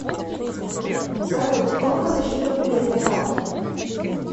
салют сколько на счету кредитной карты